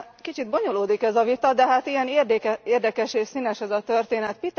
Kicsit bonyolódik ez a vita, de hát ilyen érdekes és színes ez a történet.